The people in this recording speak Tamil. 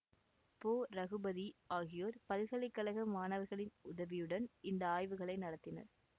பொ இரகுபதி ஆகியோர் பல்கலை கழக மாணவர்களின் உதவியுடன் இந்த ஆய்வுகளை நடத்தினர்